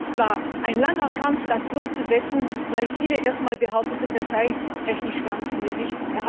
Auch hier war es ein langer Kampf, das durchzusetzen, da viele erst einmal behaupteten, das sei technisch gar nicht möglich.